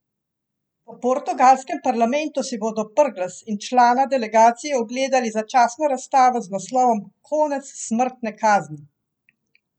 V portugalskem parlamentu si bodo Brglez in člana delegacije ogledali začasno razstavo z naslovom Konec smrtne kazni!